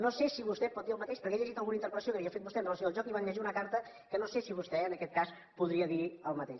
no sé si vostè pot dir el mateix perquè he llegit alguna interpel·lació que havia fet vostè amb relació al joc i van llegir una carta que no sé si vostè en aquest cas podria dir el mateix